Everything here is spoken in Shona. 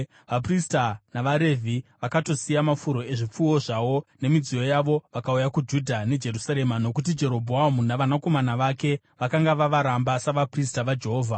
Vaprista navaRevhi vakatosiya mafuro ezvipfuwo zvavo nemidziyo yavo vakauya kuJudha neJerusarema nokuti Jerobhoamu navanakomana vake vakanga vavaramba savaprista vaJehovha.